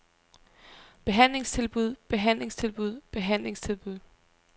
behandlingstilbud behandlingstilbud behandlingstilbud